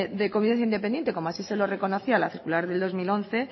de convivencia independiente como así se lo reconocía la circular de dos mil once